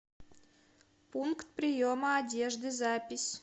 пункт приема одежды запись